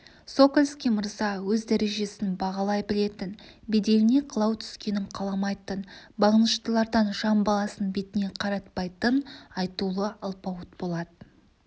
сокольский мырза өз дәрежесін бағалай білетін беделіне қылау түскенін қаламайтын бағыныштылардан жан баласын бетіне қаратпайтын айтулы алпауыт болатын